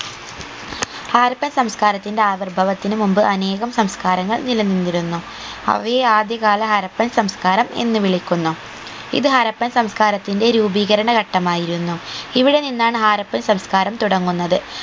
ഹാരപ്പൻ സംസ്ക്കാരത്തിന്റെ ആവിർഭവത്തിനു മുമ്പ് അനേകം സംസ്‌കാരങ്ങൾ നില നിന്നിരുന്നു അവയെ ആദ്യകാല ഹാരപ്പൻ സംസ്ക്കാരം എന്ന് വിളിക്കുന്നു ഇത് ഹാരപ്പൻ സംസ്ക്കാരത്തിന്റെ രൂപീകരണ ഘട്ടമായിരുന്നു ഇവിടെ നിന്നാണ് ഹാരപ്പൻ സംസ്ക്കാരം തുടങ്ങുന്നത്